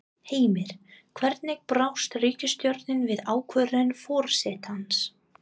Heimir, hvernig brást ríkisstjórnin við ákvörðun forsetans?